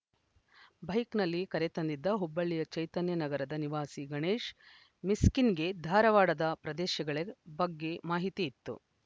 ಬೈಕ್‌ನಲ್ಲಿ ಕರೆತಂದಿದ್ದ ಹುಬ್ಬಳ್ಳಿಯ ಚೈತನ್ಯ ನಗರದ ನಿವಾಸಿ ಗಣೇಶ್‌ ಮಿಸ್ಕಿನ್‌ಗೆ ಧಾರವಾಡದ ಪ್ರದೇಶಗಳೆ ಬಗ್ಗೆ ಮಾಹಿತಿ ಇತ್ತು